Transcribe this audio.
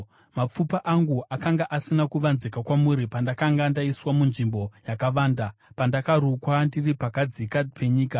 Mapfupa angu akanga asina kuvanzika kwamuri, pandakanga ndaiswa munzvimbo yakavanda. Pandakarukwa ndiri pakadzika penyika,